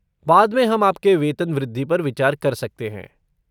बाद में हम आपके वेतन वृद्धि पर विचार कर सकते हैं।